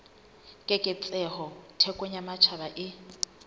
keketseho thekong ya matjhaba e